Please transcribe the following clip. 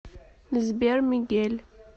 сбер мигель